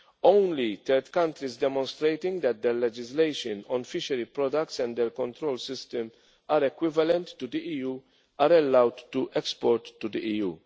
years. Only third countries demonstrating that the legislation on fishery products and their control system are equivalent to the EU are allowed to export